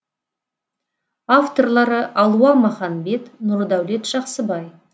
авторлары алуа маханбет нұрдәулет жақсыбай